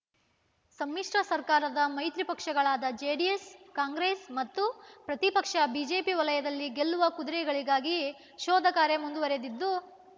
ಸಮ್ಮಿಶ್ರ ಸರ್ಕಾರದ ಮೈತ್ರಿ ಪಕ್ಷಗಳಾದ ಜೆಡಿಎಸ್ ಕಾಂಗ್ರೆಸ್ ಮತ್ತು ಪ್ರತಿಪಕ್ಷ ಬಿಜೆಪಿ ವಲಯದಲ್ಲಿ ಗೆಲ್ಲುವ ಕುದುರೆಗಳಿಗಾಗಿ ಶೋಧ ಕಾರ್ಯ ಮುಂದುವರೆದಿದ್ದು